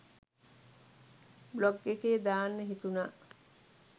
Blog එකේ දාන්න හිතුනා.